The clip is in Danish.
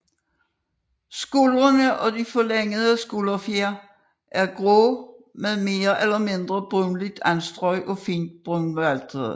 Skuldrene og de forlængede skulderfjer er grå med mere eller mindre brunligt anstrøg og fint brunvatrede